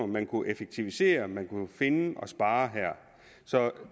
man kunne effektivisere man kunne finde og spare her så